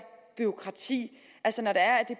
bureaukrati når